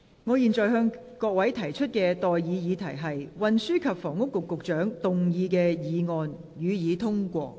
我現在向各位提出的待議議題是：運輸及房屋局局長動議的議案，予以通過。